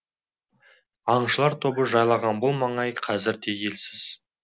аңшылар тобы жайлаған бұл маңай қазір де елсіз